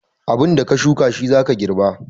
Abinda ka shuka shi za ka girba.